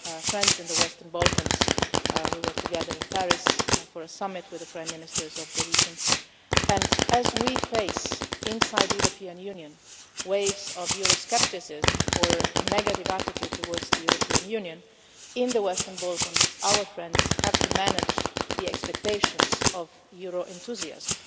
our friends in the Western Balkans we were together in Paris for a summit with the Prime Ministers of the region and as we face inside the European Union waves of Euro scepticism or a negative attitude towards the European Union, in the Western Balkans our friends have to manage the expectations of Euro enthusiasm.